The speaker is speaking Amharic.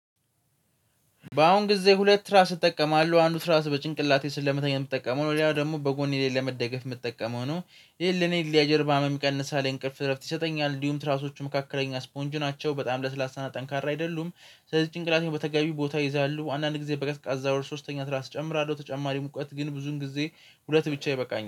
በአሁን ጊዜ ሁለት ትራስ እጠቀማለሁ አንዱ ትራስ በጭንቅላቴ ስለመተኛ የምጠቀመው ነው ሌላው ደግሞ በጎኔ ላይ ለመደገፍ የምጠቀመው ነው። ይሄ ለኔ የጀርባ ህመም ይቀንሳል የእንቅልፍ እረፍት ይሰጠኛል እንዲሁም ትራሶቹ መካከለኛ ስፖንጅ ናቸው በጣም ለስላሳ ጠንካራ አይደሉም። ስለዚህ ጭንቅላቴን በተገቢው ቦታ ይይዛሉ አንዳንድ ጊዜ በቀዝቃዛ ወር ሶስተኛ ትራስ እጨምራለሁ። ተጨማሪ ሙቀት ግን ብዙን ጊዜ ሁለት ብቻ ይበቃኛል